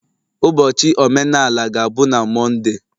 Ụbọchị omenala ga-abụ na Monday.